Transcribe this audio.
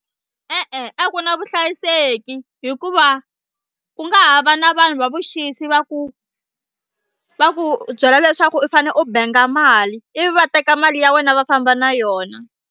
E-e a ku na vuhlayiseki hikuva ku nga ha va na vanhu va vuxisi va ku va ku byela leswaku u fane u banga mali ivi va teka mali ya wena va famba na yona.